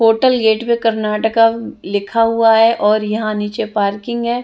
Hotel gate पे कर्नाटका लिखा हुआ है यहाँ नीचे पार्किंग है।